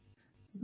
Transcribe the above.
audio